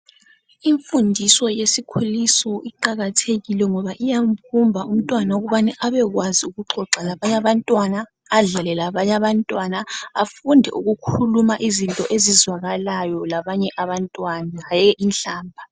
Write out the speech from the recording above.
Imfundiso yesikhuliso iqakathekile ngoba iyambumba umntwana ukuthi abekwazi ukuxoxa labanye abantwana, adlale labanye abantwana njalo afunde ukukhuluma izinto ezizwakalayo labanye hayi inhlamba.